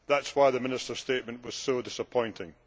That is why the Minister's statement was so disappointing.